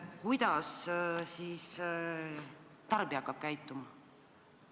Kuidas siis nüüd tarbija hakkab käituma?